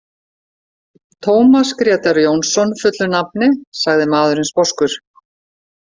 Tómas Grétar Jónsson fullu nafni, sagði maðurinn sposkur.